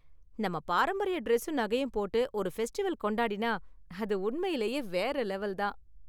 நம்ம பாரம்பரிய டிரஸும் நகையும் போட்டு ஒரு ஃபெஸ்டிவல் கொண்டாடினா அது உண்மையிலேயே வேற லெவல் தான்.